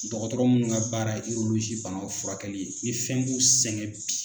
Dɔgɔtɔrɔ munnu ka baara ye banaw furakɛli ye ni fɛn b'u sɛgɛn bi